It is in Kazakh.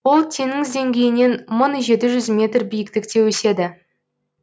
ол теңіз деңгейінен мың жеті жүз метр биіктікте өседі